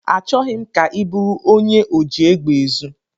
Achọghị m ka ị bụrụ onye oji egbe ezu.